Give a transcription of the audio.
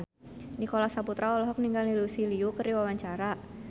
Nicholas Saputra olohok ningali Lucy Liu keur diwawancara